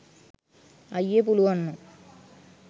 අයියේ පුළුවන් නම්